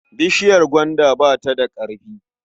Bishiyar gwanda ba ta da ƙarfi.